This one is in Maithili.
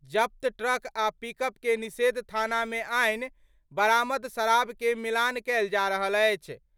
जब्त ट्रक आ पिकअप के निषेध थाना मे आनि बरामद शराब के मिलान कयल जा रहल अछि।